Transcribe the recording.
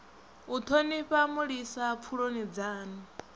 u thonifha mulisa pfuloni dzanu